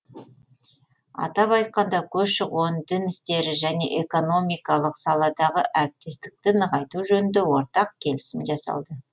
атап айтқанда көші қон дін істері және экономикалық саладағы әріптестікті нығайту жөніндегі ортақ келісімдер жасалды